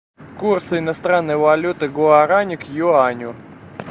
курс иностранной валюты гуарани к юаню